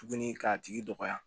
Tuguni k'a tigi dɔgɔya